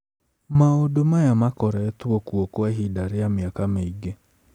Maũndũ maya makoretwo kuo kwa ihinda rĩa mĩaka mĩingĩ.